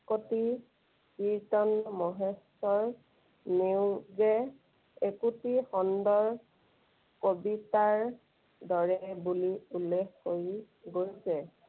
কীৰ্ত্তন মহেশ্বৰ নেওগে একোটি খণ্ডৰ কবিতাৰ দৰে বুলি উল্লেখ কৰি গৈছে।